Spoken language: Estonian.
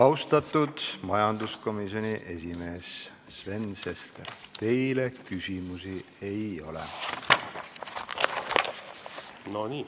Austatud majanduskomisjoni esimees Sven Sester, teile küsimusi ei ole.